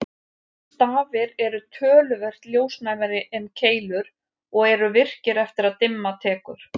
Stafir eru töluvert ljósnæmari en keilur og eru virkir eftir að dimma tekur.